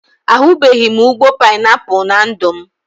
Ahubeghi m ụgbọ painiapụl na ndụ m